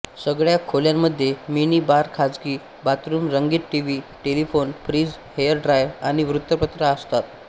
सगळ्या खोल्यांमध्ये mini bar खाजगी बाथरूम रंगीत TV telephone fridge hair dryer आणि वृत्तपत्र असतात